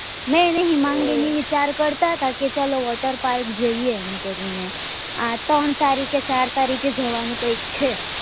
મેં નહી હિમાંગી ને વિચાર કરતા હતા કેચાલો water park જઈએ એમ કરી ને આ ત્રણ તારીખ કે ચાર તારીખે જવા નું કાઈક છે